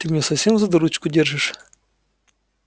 ты меня совсем за дурочку держишь